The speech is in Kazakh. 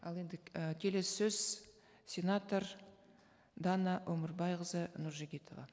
ал енді і келесі сөз сенатор дана өмірбайқызы нұржігітова